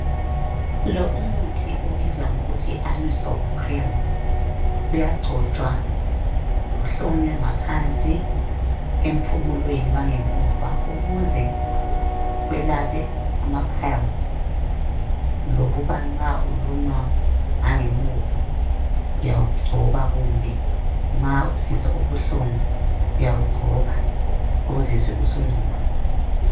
Lo umuthi ubizwa ngokuthi yi anusol cream uyangcotshwa uhlonywe ngaphanzi empumulweni wangemuva ukuze welaphe amapals lokuba nxa ulunywa ngangemuva uyawungcoba kumbe nxa usizwa ubuhlungu uyawugcoba uzizwe usuncono